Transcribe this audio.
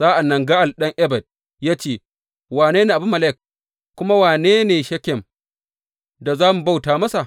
Sa’an nan Ga’al ɗan Ebed ya ce, Wane ne Abimelek, kuma wane ne Shekem, da za mu bauta masa?